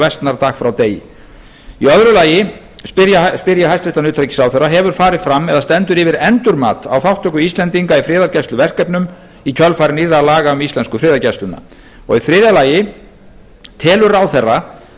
versnar dag frá degi annars hefur farið fram eða stendur yfir endurmat á þátttöku íslendinga í friðargæsluverkefnum í kjölfar nýrra laga um íslensku friðargæsluna þriðja telur ráðherra